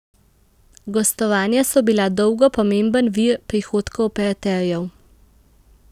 Gostovanja so bila dolgo pomemben vir prihodkov operaterjev.